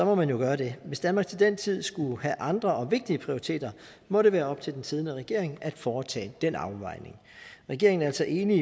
må man jo gøre det hvis danmark til den tid skulle have andre og vigtigere prioriteter må det være op til den siddende regering at foretage den afvejning regeringen er altså enig